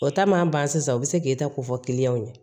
O ta ma ban sisan u bɛ se k'e ta ko fɔ ɲɛ